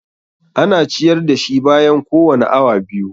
Ana ciyar da shi bayan kowane awa biyu.